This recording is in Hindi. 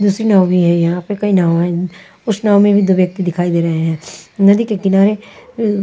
दूसरी नाव भी है यहाँ पे कई नाव हैं अं उस नाव में भी दो व्यक्ति दिखाई दे रहे हैं नदी के किनारे अ--